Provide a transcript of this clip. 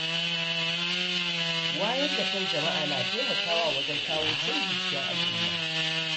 Wayar da kan jama’a na taimakawa wajen kawo canji cikin al'umma.